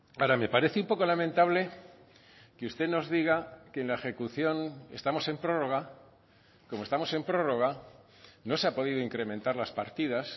ahora me parece un poco lamentable que usted nos diga que en la ejecución estamos en prórroga como estamos en prórroga no se ha podido incrementar las partidas